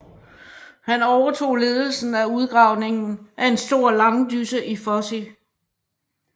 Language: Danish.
Han overtog ledelsen af udgravningen af en stor langdysse i Fosie